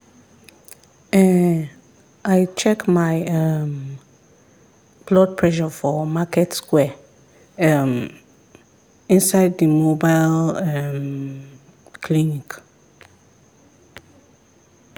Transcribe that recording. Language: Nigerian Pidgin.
ehn i check my um blood pressure for market square um inside the mobile um clinic.